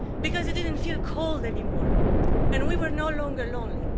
Because it didn't feel cold anymore and we were no longer lonely.